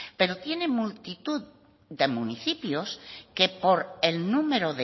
pero tiene multitud de municipios que por el número